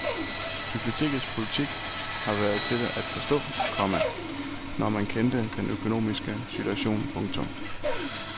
Bibliotekets politik har været til at forstå, komma når man kendte den økonomiske situation. punktum